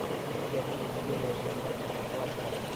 у тебя будет серия двенадцать схватка